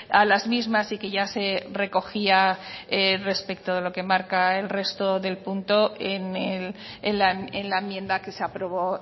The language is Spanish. a las mismas y que ya se recogía respecto a lo que marca el resto del punto en la enmienda que se aprobó